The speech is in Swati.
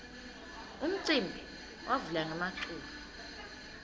umcimbi wavula ngemaculo